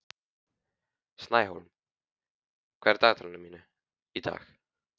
Snæhólm, hvað er á dagatalinu mínu í dag?